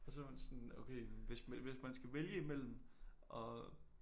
Og så var hun sådan okay men hvis man vhis man skal vælge i mellem at